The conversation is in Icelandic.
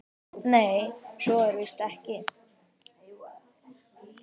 Nei, svo er víst ekki.